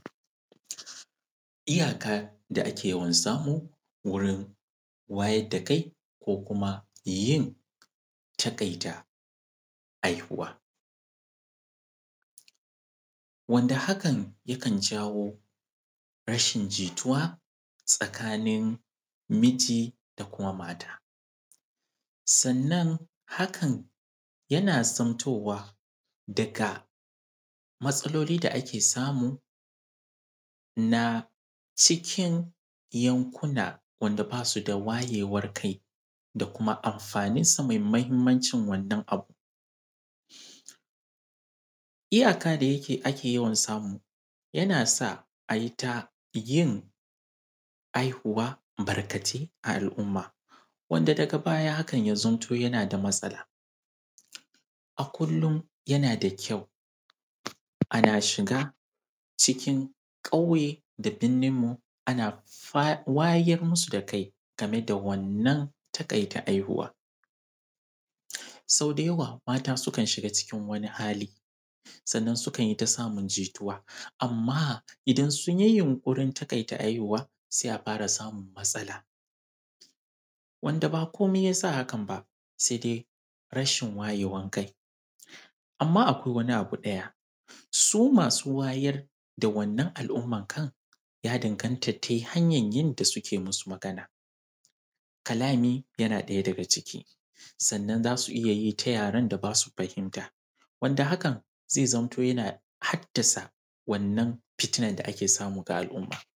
Iyaka da ake yawan samu wurin wayar da kai ko kuma yin taƙaita haihuwa, wanda hakan yakan jawo rashin jituwa tsakanin miji da kuma mata. Sannan hakan yana zamtowa daga matsaloli da ake samu na cikin yankuna, wanda ba su da wayewar kai da kuma amfanin su mai mahimmancin wannan abu. Iyaka da ake yawan samu yana sa a yi ta yin haihuwa barkatai a al’umma, wanda daga baya hakan ya zamto yana da matsala. A kullun, yana da kyau ana shiga cikin ƙauye da birninmu ana wayar musu da kai game da wannan taƙaita haihuwa. Sau da yawa mata sukan shiga cikin wani hali, sannan sukan yi ta samun jituwa, amma idan sun yi yunƙurin taƙaita haihuwa, sai a fara samun matsala. Wanda ba komai ya sa haka ba sai dai rashin wayewar kai. Amma akwai wani abu ɗaya, su masu wayar da wannan al’uma kai ya danganta da hanyar yanda suke masu magana. Kalami yana ɗaya daga ciki. Sannan za su iya yi ta yaren da ba su fahimta wanda hakan zamto yana haddasa wannan fitina da ake samu ga al’umma.